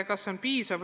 Kas see on piisav?